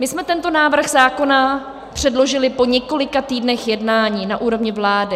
My jsme tento návrh zákona předložili po několika týdnech jednání na úrovni vlády.